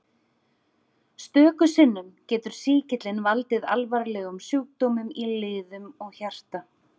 Stöku sinnum getur sýkillinn valdið alvarlegum sjúkdómum í liðum og hjarta.